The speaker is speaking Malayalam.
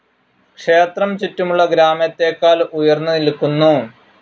ക്ഷേത്രം ചുറ്റുമുള്ള ഗ്രാമത്തേക്കാൾ ഉയർന്ന് നിൽക്കുന്നു.